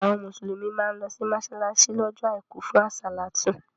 Àwọn Mùsùlùmí má ń lọ sí mọ́ṣáláṣí lọ́jọ́ àìkú fún àsálàtú